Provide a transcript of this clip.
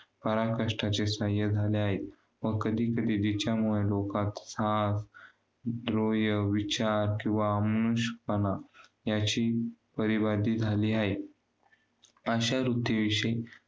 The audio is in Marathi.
नियम म्हणजे काय करावे हे भावनात्मक सांगणारे आहे नियम सुद्धा पाच आहेत व्यक्तिमत्त्वाचा विकास करण्यासाठी आचार्य आचारावयाचे पाच नियम आहेत नियमाचा अर्थ सदा सदाचाराचे पालन होय.